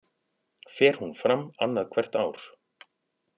Fer hún fram annað hvert ár